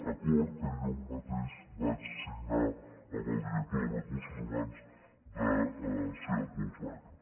acord que jo mateix vaig signar amb el director de recursos humans de seat volkswagen